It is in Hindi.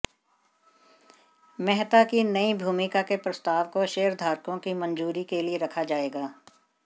मेहता की नई भूमिका के प्रस्ताव को शेयरधारकों की मंजूरी के लिए रखा जाएगा